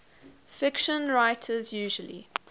fiction writers usually